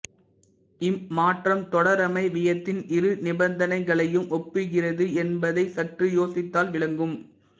இம்மாற்றம் தொடரமைவியத்தின் இரு நிபந்தனைகளையும் ஒப்புகிறது என்பதை சற்று யோசித்தால் விளங்கும்